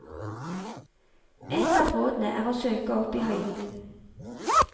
Ett av rådene er å søke opp i høyden.